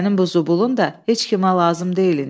Sənin bu zubulun da heç kimə lazım deyilindi.